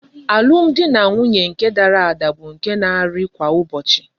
Alum di na nwunye nke dara ada bu nke na ari kwa ụbọchị.